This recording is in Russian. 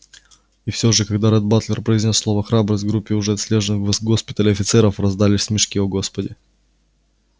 и все же когда ретт батлер произнёс слово храбрость в группе уже отлежавших в госпитале офицеров раздались смешки о господи